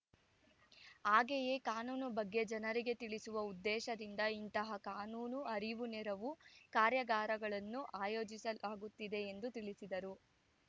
ಹಾಗೆಯೇ ಕಾನೂನು ಬಗ್ಗೆ ಜನರಿಗೆ ತಿಳಿಸುವ ಉದ್ದೇಶದಿಂದ ಇಂತಹ ಕಾನೂನು ಅರಿವು ನೆರವು ಕಾರ್ಯಾಗಾರಗಳನ್ನು ಆಯೋಜಿಸಲಾಗುತ್ತಿದೆ ಎಂದು ತಿಳಿಸಿದರು